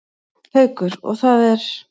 Haukur: Og það er?